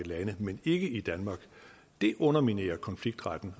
lande men ikke i danmark underminerer konfliktretten